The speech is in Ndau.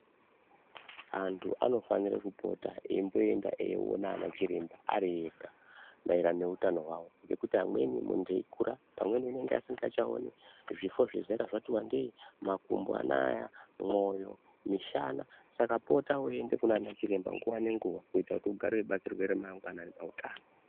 Antu anofanire kupota eyimboenda eyiona ana chiremba ari ega maererano neutano hwawo, Ngekuti amweni muntu eyikura pamweni unenge asingachaoni, zvifo zvezera zvati wandei, makumbo anaya, mwoyo, mishana. Saka pota weiende kunana chiremba nguwa nenguwa kuita kuti ugare weibatsirwa remangwana rine hutano.